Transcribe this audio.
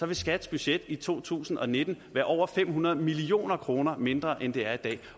vil skats budget i to tusind og nitten være over fem hundrede million kroner mindre end det er i dag